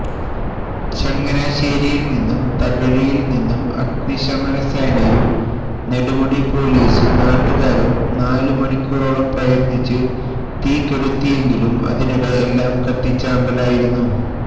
ചങ്ങനാശേരിയിൽ നിന്നും തകഴിയിൽ നിന്നും അഗ്നിശമനസേനയും നെടുമുടി പൊലീസും നാട്ടുകാരും നാലുമണിക്കൂറോളം പ്രയത്നിച്ച് തീ കെടുത്തിയെങ്കിലും അതിനിടെ എല്ലാം കത്തിച്ചാമ്പലായിരുന്നു